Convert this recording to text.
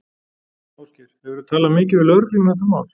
Ásgeir: Hefurðu talað mikið við lögregluna um þetta mál?